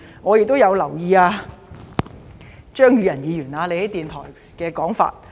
我亦有留意張宇人議員在電台的說法。